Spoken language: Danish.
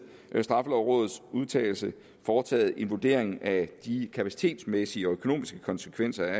straffelovrådets udtalelse foretaget en vurdering af de kapacitetsmæssige og økonomiske konsekvenser